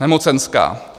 Nemocenská.